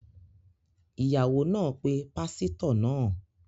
Iyawo naa pe pasito naa